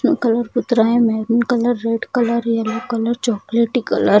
Colour maroon colour red colour yellow colour चॉकलेटी colour.